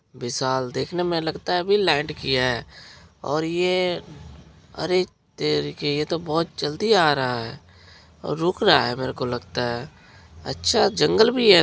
विशाल देखने में लगता है अभी लाईट गया है और ये अरे तेरी की ये तो बहुत जल्दी आ रहा है और रुक रहा है मेरो को लगता है अच्छा जंगल भी है।